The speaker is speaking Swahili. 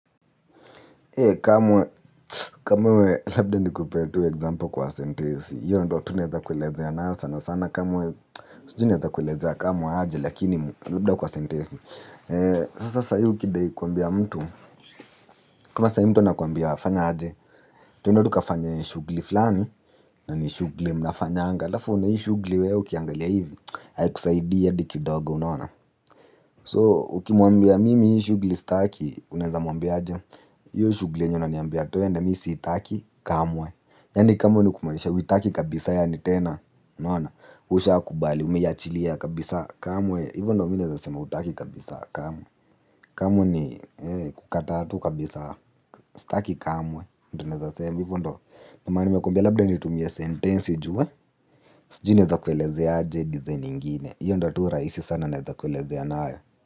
He kamwe, kamwe labda nikupee tu example kwa sentesi, hiyo ndo tunaeza kuelezeana sana sana kamwe, sijui naeza kuelezea kamwe aje lakini labda kwa sentesi. Sasa saa hii ukidai kuambia mtu, kama saa hii mtu anakuambia fanya aje, twende tuka fanye shugli fulani, nani shugli mnafanyanga, alfu una hii shugli wewe ukiangalia hivi, haikusaidia hadikidogo unaona. So, ukimwambia mimi hii shugli staki, unaeza mwambia aje, hiyoshugli yenye unaniambia twende mi si itaki kamwe. Yaani kamwe ni kumaanisha, huitaki kabisa yaanitena, unaona, usha kubali, umeiachilia kabisa kamwe, hivo ndo minaeza sema utaki kabisa kamwe, kamwe ni kukataa tu kabisa, staki kamwe, hivo ndo maana nimekumbia labda nitumie sentensi ju we, sijui naeza kuelezea aje design ingine, hiyo ndo turahisi sana naeza kueleze anayo.